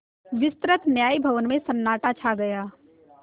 विस्तृत न्याय भवन में सन्नाटा छा गया